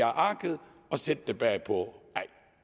arket og sætte det bagpå